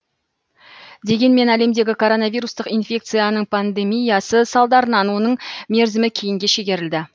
дегенмен әлемдегі коронавирустық инфекцияның пандемиясы салдарынан оның мерзімі кейінге шегерілді